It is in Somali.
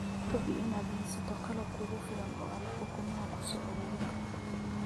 Hubi inaad haysato qalab kugu filan oo aad ukumaha ku soo ururin karto.